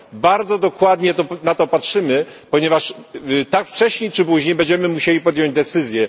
Bardzo dokładnie na to patrzymy, ponieważ wcześniej czy później będziemy musieli podjąć decyzję.